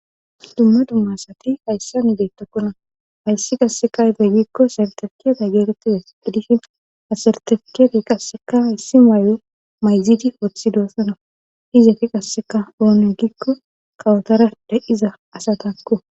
dumma dumma asati hayss an bettokkona hayssi qasse ayibe giikko sartefiket getettidays gidishin ha sartefikt getetizayssa gidishin qasseka hayssi maayo mayzidi woththi doossana izeti qasseka oone gikko kawotara de7iza asatakko